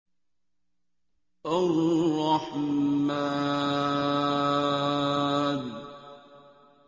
الرَّحْمَٰنُ